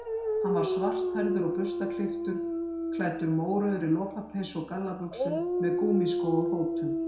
Hann var svarthærður og burstaklipptur, klæddur mórauðri lopapeysu og gallabuxum, með gúmmískó á fótum.